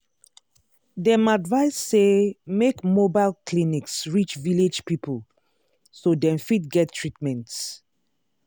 dem advise say make mobile clinics reach village people so dem fit get treatment.